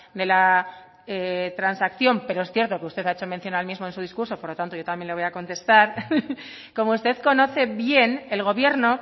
de la transacción pero es cierto que usted ha hecho mención al mismo en su discurso por lo tanto yo también le voy a contestar como usted conoce bien el gobierno